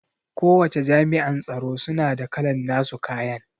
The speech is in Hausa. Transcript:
Kowace Jami'an tsaro suna da kalan nasu kayan